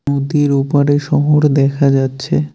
নদীর ওপারে শহর দেখা যাচ্ছে।